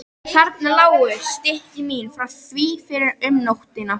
Þarna lágu stykki mín frá því fyrr um nóttina.